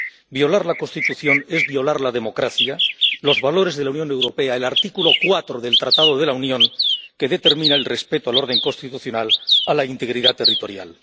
Violar la Constitución es violar la democracia, los valores de la Unión Europea y el artículo 4 del Tratado de la Unión, que determina el respeto al orden constitucional a la integridad territorial.